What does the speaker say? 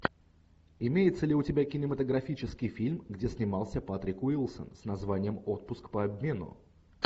имеется ли у тебя кинематографический фильм где снимался патрик уилсон с названием отпуск по обмену